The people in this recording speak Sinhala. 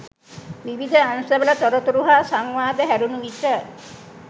විවිධ අංශවල තොරතුරු හා සංවාද හැරුණු විට